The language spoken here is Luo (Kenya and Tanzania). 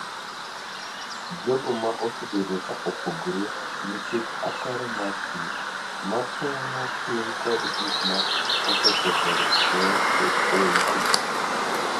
jogo ma osebedo ka opogore nikech ataro mar pii ma pong’o piny kod gik ma osekethore e utegi